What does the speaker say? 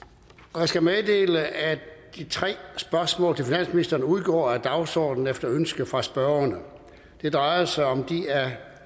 jeg skal meddele at de tre spørgsmål til finansministeren udgår af dagsordenen efter ønske fra spørgerne det drejer sig om de